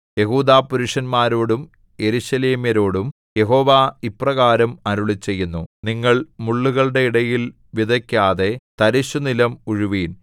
യെഹൂദാപുരുഷന്മാരോടും യെരൂശലേമ്യരോടും യഹോവ ഇപ്രകാരം അരുളിച്ചെയ്യുന്നു നിങ്ങൾ മുള്ളുകളുടെ ഇടയിൽ വിതയ്ക്കാതെ തരിശുനിലം ഉഴുവിൻ